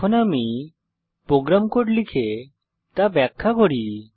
এখন আমি program code লিখে তা ব্যাখ্যা করি